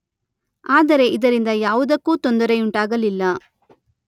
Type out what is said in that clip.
ಆದರೆ ಇದರಿಂದ ಯಾವುದಕ್ಕೂ ತೊಂದರೆಯುಂಟಾಗಲಿಲ್ಲ.